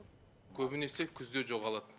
көбінесе күзде жоғалады